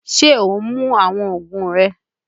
Ṣe o ń mú awọn oògùn rẹ?